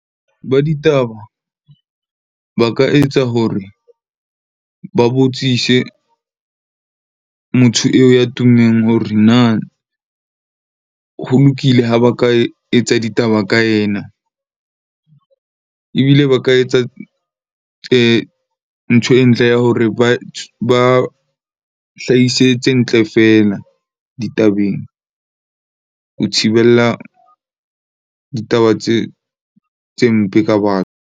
Ba ditaba ba ka etsa hore ba botsise motho eo ya tummeng hore na ho lokile ha ba ka etsa ditaba ka ena. Ebile ba ka etsa ntho e ntle ya hore ba hlahise tse ntle feela ditabeng, ho thibella ditaba tse mpe ka batho.